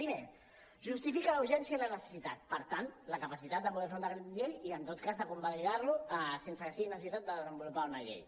primer en justifica la urgència i la necessitat per tant la capacitat de poder fer un decret llei i en tot cas de convalidar lo sense que es tingui necessitat de desenvolupar una llei